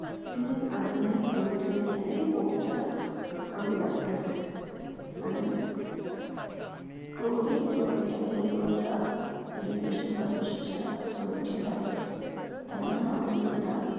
ती अजूनही पोहोचलेली नाही आणि ती पोहोचायला हवी अर्थातच. आणि तो ही जो घटक आहे जो ज्या त्यांनासुद्धा